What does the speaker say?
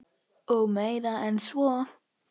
Og meira en svo.